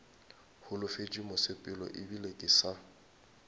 holofetše mosepelo ebile ke sa